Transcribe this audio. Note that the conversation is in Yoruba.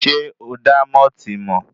Sé o dá mọ́ọ̀tì mọ̀?